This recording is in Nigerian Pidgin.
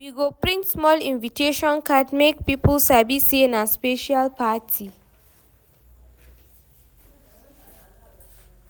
We go print small invitation card make people sabi say na special party.